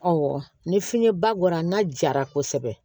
ni fiɲɛ ba bɔra n'a jara kosɛbɛ